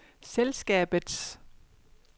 selskabets